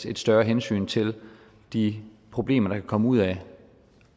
et større hensyn til de problemer der kan komme ud af at